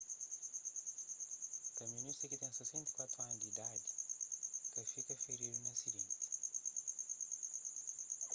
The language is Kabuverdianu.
kamionista ki ten 64 anu di idadi ka fika firidu na asidenti